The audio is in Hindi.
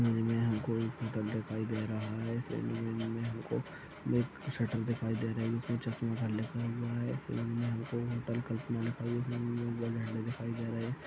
मूवी में हमको एक होटल दिखाई दे रहा है में हमको एक शटर दिखाई दे रही है जिसमे चश्मा घर लिखा हुआ है फिल्म में हमको होटल कल्पना लिखा दिखाई दे रहे है।